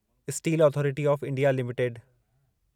steel Authority of India limited